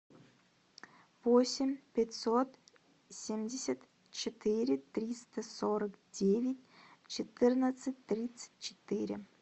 восемь пятьсот семьдесят четыре триста сорок девять четырнадцать тридцать четыре